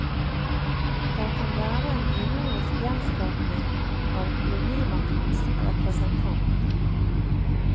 Den kan være en ironisk gjenskapning av kolonimaktens representant.